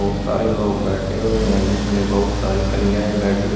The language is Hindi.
बहुत सारे लोग बैठे हुए हैं जिसमें बहुत सारी कन्याएं बैठी हु--